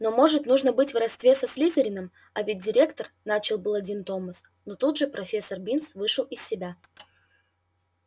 но может нужно быть в родстве со слизерином а ведь директор начал было дин томас но тут же профессор бинс вышел из себя